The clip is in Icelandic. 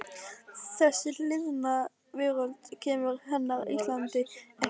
Þessi liðna veröld kemur hennar Íslandi ekki við.